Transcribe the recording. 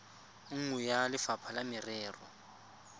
nngwe ya lefapha la merero